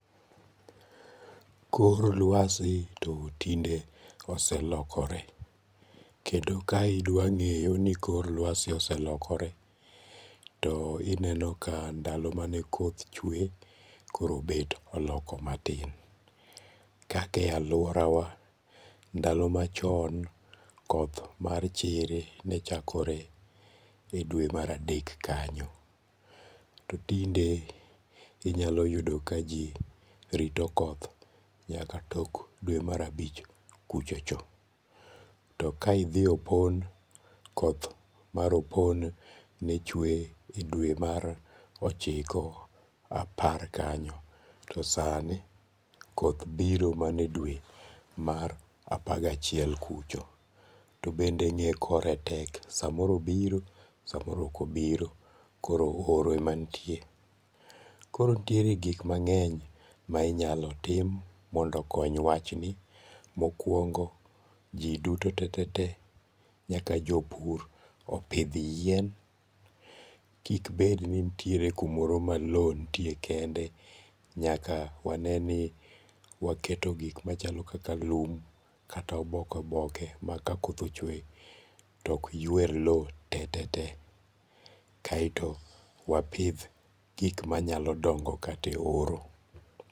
Kor lwasi to tinde oselokore, kendo ka idwange'yo ni kor lwasi oselokore to ineno ka ndalo mane koth chwe koro bet oloko matin, kaka e aluorawa ndalo machon koth mar chiri nechakore e dwe maradek kanyo, to tinde inyalo yudo ka ji rito koth nyaka tok dwe marabich kuchocho, to ka idhie opon, mar opon ne chwe e dwe mar ochiko, apar kanyo to sani koth biro mana e dwe mar apar gi achiel kucho, to bende nge' kore tek samoro obiro samoro okobiro koro oro emanitie, koro nitiere gik mange'ny ma inyalo tim mondo okony wachni, mokuongo' ji duto tetetee nyaka jopur opith yien, kik bed ni nitiere kumoro ma lowo nitie kende nyaka waneni waketo gik machalo kaka lum kata oboke oboke ma ka koth ochwe to ok ywer lowo tetetee kaeto wapith gik manyalo dongo kata e horo.